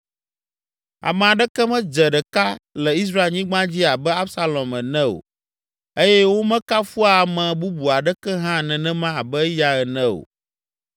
Ame aɖeke medze ɖeka le Israelnyigba dzi abe Absalom ene o eye womekafua ame bubu aɖeke hã nenema abe eya ene o.